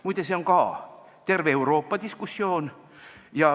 Muide, see on ka terves Euroopas diskussioon.